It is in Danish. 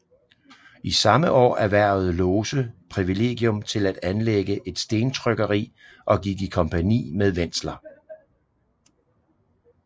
I samme år erhvervede Lose privilegium til at anlægge et stentrykkeri og gik i kompagni med Wentzler